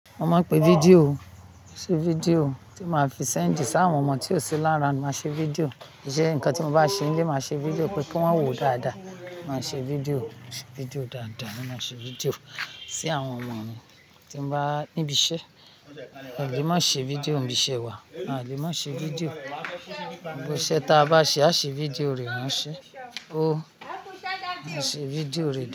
Mo máa ń pe fídíò, ṣe fídíò tí màá fi send sí àwọn ọmọ tí ó sí ni around, máa ṣe fídíò. Jé nǹkan tí mo bá ṣe nílé, màá ṣe fídíò pé kí wọ́n wò dáadáa. Màá ṣe fídíò, ṣe fídíò dáadáa ni, màá ṣe fídíò sí àwọn ọmọ mi tí n bá níbi iṣẹ́. A lè má ṣe fídíò n bi iṣẹ́ wa, a lè má ṣe fídíò. Gbogbo iṣẹ́ ta a bá ṣe, a ṣe fídíò rẹ̀ rán ṣe. Ó, a ṣe fídíò rẹ̀